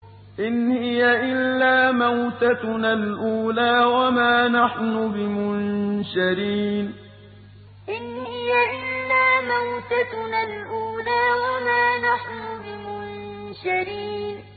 إِنْ هِيَ إِلَّا مَوْتَتُنَا الْأُولَىٰ وَمَا نَحْنُ بِمُنشَرِينَ إِنْ هِيَ إِلَّا مَوْتَتُنَا الْأُولَىٰ وَمَا نَحْنُ بِمُنشَرِينَ